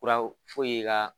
Furaw i ka